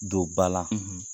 Don bala, .